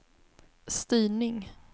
styrning